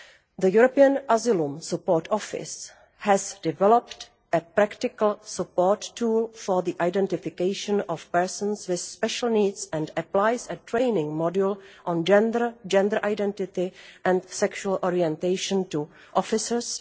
The European Asylum Support Office has developed a practical support tool for the identification of persons with special needs and applies a training module on gender, gender identity and sexual orientation to officers.